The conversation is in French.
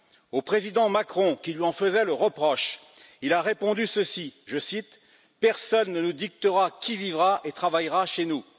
Au président Macron, qui lui en faisait le reproche, il a répondu ceci, je cite Personne ne nous dictera qui vivra et travaillera chez nous..